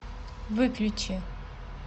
выключи